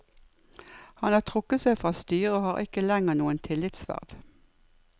Han har trukket seg fra styret og har ikke lenger noen tillitsverv.